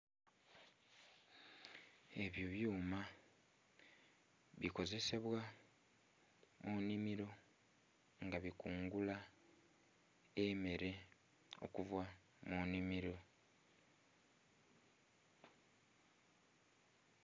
Ebyo byuma bikozesebwa mu nnhimiro nga bikungula emmere okuva mu nnhimiro.